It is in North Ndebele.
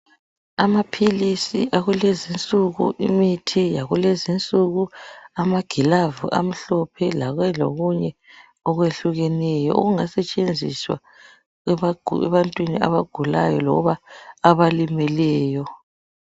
Amaphilisi akulezinsuku, imithi yakulezinsuku , amagilavu amhlophe labe lokunye okwehlukeneyo, okungasetshenziswa ebantwini abagulayo loba abalimeleyo.